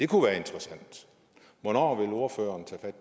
kunne være interessant hvornår vil ordføreren tage